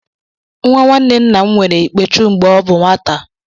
Nwa nwanne nna m nwere Ikpechu mgbe ọ bụ nwata